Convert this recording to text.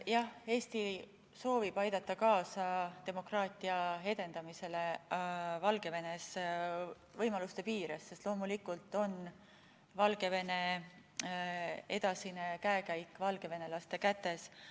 Jah, Eesti soovib aidata kaasa demokraatia edendamisele Valgevenes võimaluste piires, sest loomulikult on Valgevene edasine käekäik valgevenelaste kätes.